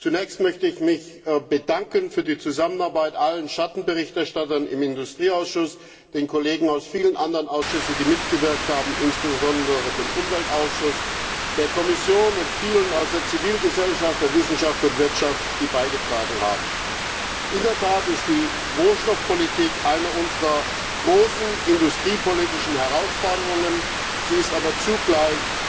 Zunächst möchte ich mich bei allen Schattenberichterstattern im Industrieausschuss, den Kollegen aus vielen anderen Ausschüssen, die mitgewirkt haben, insbesondere vom Umweltausschuss, der Kommission und vielen aus der Zivilgesellschaft, der Wissenschaft und Wirtschaft, die beigetragen haben, für die Zusammenarbeit bedanken. In der Tat ist die Rohstoffpolitik eine unserer großen industriepolitischen Herausforderungen. Sie ist aber zugleich